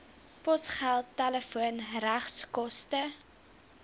posgeld telefoon regskoste